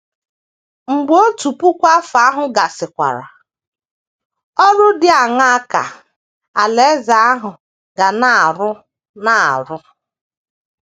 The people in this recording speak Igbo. Mgbe otu puku afọ ahụ gasịkwara, ọrụ dị aṅaa ka Alaeze ahụ ga na - arụ na - arụ?